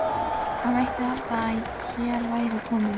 Það mætti halda að hér væri kominn